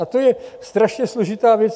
A to je strašně složitá věc.